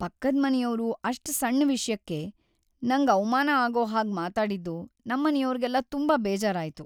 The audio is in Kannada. ಪಕ್ಕದ್ ಮನೆಯವ್ರು ಅಷ್ಟ್ ಸಣ್ ವಿಷ್ಯಕ್ಕೆ ನಂಗ್ ಅವ್ಮಾನ ಆಗೋ ಹಾಗ್‌ ಮಾತಾಡಿದ್ದು ನಮ್ಮನೆಯೋರ್ಗೆಲ್ಲ ತುಂಬಾ ಬೇಜಾರಾಯ್ತು.